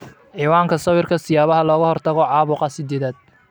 Cinwaanka sawirka, Siyaabaha looga hortago caabuqa sidedad